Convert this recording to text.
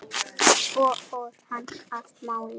Svo fór hann að mála.